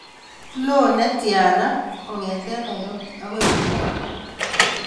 Loo netiana kong'eten Nairobi agoi Kiambu